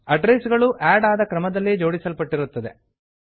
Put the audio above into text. address ಗಳು ಆಡ್ ಆದ ಕ್ರಮದಲ್ಲಿ ಜೋಡಿಸಲ್ಪಟ್ಟಿರುತ್ತದೆ